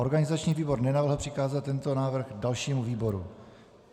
Organizační výbor nenavrhl přikázat tento návrh dalšímu výboru.